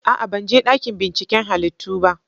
A'a! Ban je dakin binciken halittu ba.